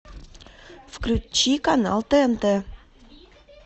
включи канал тнт